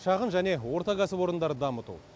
шағын және орта кәсіпорындарды дамыту